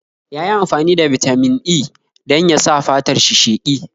Yayi amfani da Bitamin E dan yasa fatar shi sheƙi